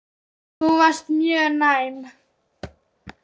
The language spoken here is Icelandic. Þú varst mjög næm.